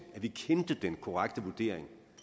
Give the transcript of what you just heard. at vi kendte den korrekte vurdering